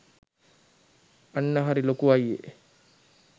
අන්න හරි ලොකු අයියේ.